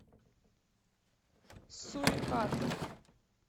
сурикаты